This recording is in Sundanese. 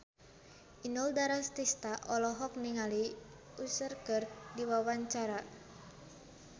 Inul Daratista olohok ningali Usher keur diwawancara